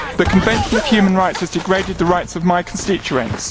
The Convention on Human Rights has degraded the rights of my constituents.